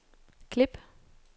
klip